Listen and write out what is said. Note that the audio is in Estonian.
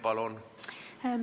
Palun!